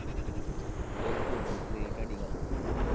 ਬਿਲਕੁੱਲ ਬਿਲਕੁੱਲ ਏਹ ਤਾਡੀ ਗੱਲ ਸਹੀ ਐ।